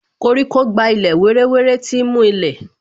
Koríko gba ilẹ̀ wéré wéré, tí ń mú ilẹ̀